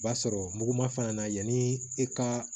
B'a sɔrɔ mugu ma fana na yanni e ka